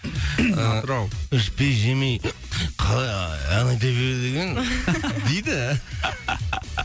атырау ыыы ішпей жемей қалай ы ән айта береді екен дейді